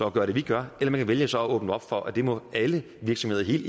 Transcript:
at gøre det vi gør eller man kan vælge så at åbne op for at det må alle virksomheder i